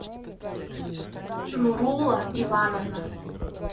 нурула ивановна